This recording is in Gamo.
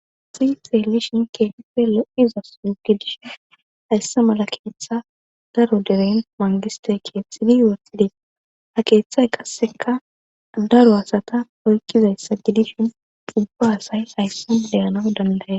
Si xeellishin keefe lo'iza suugidishe haysse mala keeththa daro deren mangiste keeththidi worsidees ha keeththay qasseka daro asata poykkizayssa gidishin dubba asay hayssa deyanaw dandaye